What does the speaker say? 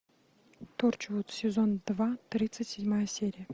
торчвуд сезон два тридцать седьмая серия